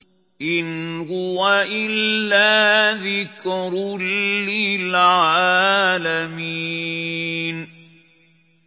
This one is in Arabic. إِنْ هُوَ إِلَّا ذِكْرٌ لِّلْعَالَمِينَ